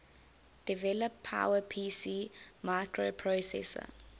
develop powerpc microprocessor